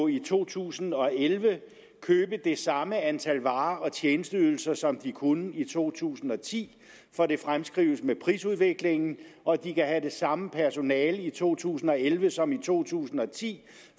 i to tusind og elleve købe det samme antal varer og tjenesteydelser som de kunne i to tusind og ti for det fremskrives med prisudviklingen og de kan have det samme personale i to tusind og elleve som i to tusind og ti